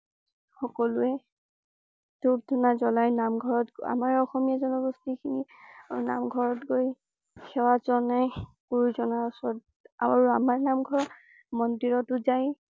সকলোৱে ধুপ ধূনা জ্বলাই নামঘৰত আমাৰ অসমীয়া জনগোষ্ঠী খিনি নামঘৰত গৈ সেৱা জনাই। গুৰুজনাৰ ওচৰত। আৰু আমাৰ নামঘৰত মন্দিৰটো জাই